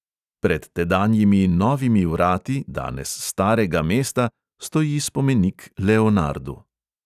Pred tedanjimi novimi vrati danes starega mesta stoji spomenik leonardu.